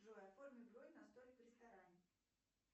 джой оформи бронь на столик в ресторане